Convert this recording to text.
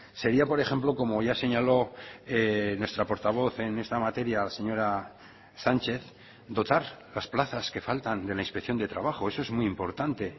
sería por ejemplo como ya señaló nuestra portavoz en esta materia la señora sánchez dotar las plazas que faltan de la inspección de trabajo eso es muy importante